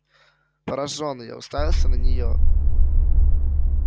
поражённый я уставился на нее